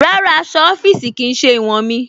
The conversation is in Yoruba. Rárá, aṣọ̀ ọ̀fíìṣí kí í ṣẹ̀ iwọn mí.